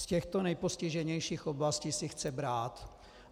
Z těchto nejpostiženějších oblastí si chce brát.